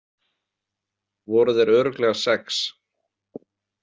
Voru þeir örugglega sex?